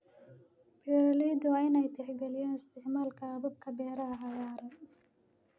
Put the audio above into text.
Beeraleydu waa inay tixgeliyaan isticmaalka hababka beeraha cagaaran.